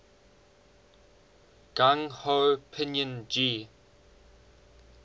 gung ho pinyin g